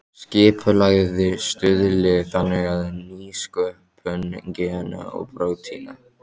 Skipulagið stuðli þannig að nýsköpun gena og prótína.